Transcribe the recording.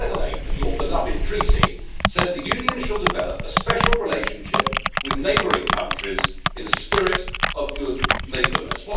Article 8 of your beloved Treaty says the Union shall develop a special relationship with neighbouring countries' in a spirit of good neighbourliness'.